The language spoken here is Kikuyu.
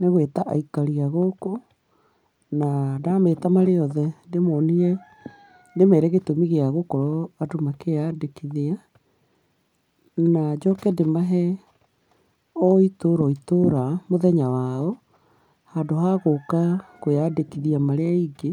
Nĩ gwĩta ikari a gũkũ, na ndameta marĩ othe, ndĩmonie ndĩmere gĩtũmi gĩa gũkorwo andu makĩyandĩkithia, na njoke ndĩmahe o itũra o itũra mũthenya wao, handũ ha gũka kwĩyandĩkithia marĩ aingĩ,